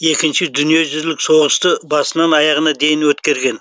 екінші дүниежүзілік соғысты басынан аяғына дейін өткерген